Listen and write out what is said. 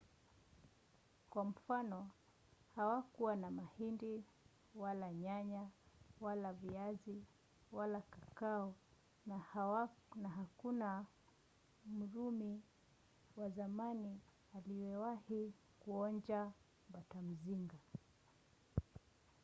kwa mfano hawakuwa na mahindi wala nyanya wala viazi wala kakao na hakuna mrumi wa zamani aliyewahi kuonja batamzinga